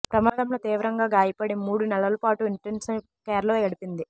ప్రమాదంలో తీవ్రంగా గాయపడి మూడు నెలల పాటు ఇన్టెన్సివ్ కేర్లో గడిపింది